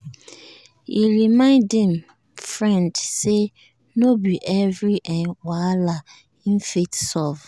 he remind him friend say no be every um whahala him fit solve